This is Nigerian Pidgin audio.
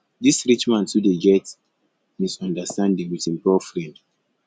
dis rich man too dey get misunderstanding wit im poor friend